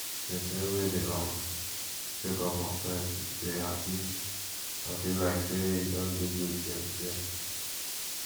persin wey de um check up on friends de dey happy and feel like say e don do good thing thing